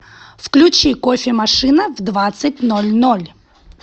включи кофемашина в двадцать ноль ноль